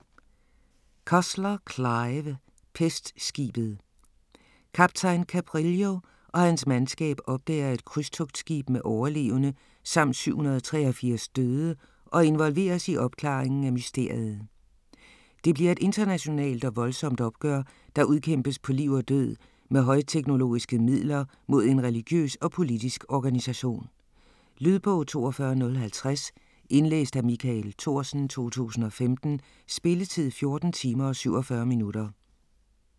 Cussler, Clive: Pestskibet Kaptajn Cabrillo og hans mandskab opdager et krydstogtskib med overlevende samt 783 døde og involveres i opklaringen af mysteriet. Det bliver et internationalt og voldsomt opgør, der udkæmpes på liv og død med højteknologiske midler mod en religiøs og politisk organisation. Lydbog 42050 Indlæst af Michael Thorsen, 2015. Spilletid: 14 timer, 47 minutter.